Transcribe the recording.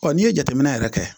Ɔ n'i ye jateminɛ yɛrɛ kɛ